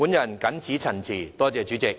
我謹此陳辭，多謝代理主席。